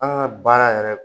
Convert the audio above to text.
An ka baara yɛrɛ